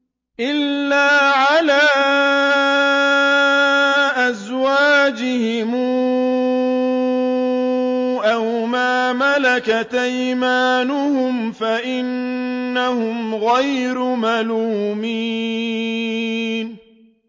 إِلَّا عَلَىٰ أَزْوَاجِهِمْ أَوْ مَا مَلَكَتْ أَيْمَانُهُمْ فَإِنَّهُمْ غَيْرُ مَلُومِينَ